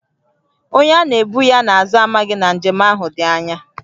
Onye a na-ebu ya n’azụ amaghị na njem ahụ dị ányá